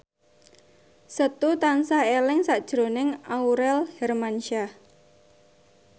Setu tansah eling sakjroning Aurel Hermansyah